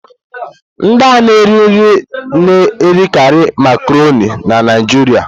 Ndị na-ere nri na-erekarị Makaronii na Naịjirịa.